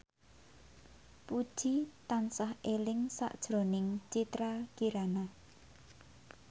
Puji tansah eling sakjroning Citra Kirana